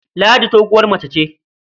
Ladi doguwar mace ce.